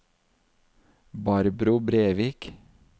Barbro Brevik